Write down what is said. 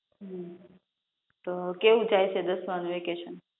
હમ તો કેવું જાય છે તમારું સમર વેકેશન